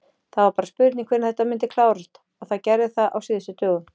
Það var bara spurning hvenær þetta myndi klárast og það gerði það á síðustu dögum.